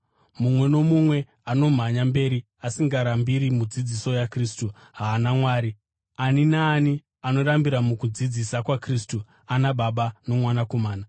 Mumwe nomumwe anomhanya mberi asingarambiri mudzidziso yaKristu haana Mwari; ani naani anorambira mukudzidzisa kwaKristu ana Baba noMwanakomana.